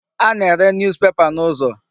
A na-ere News papers n'ụzọ.